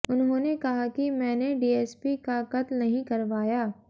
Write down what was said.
उन्होंने कहा कि मैंने डीएसपी का कत्ल नहीं करवाया